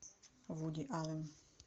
вуди аллен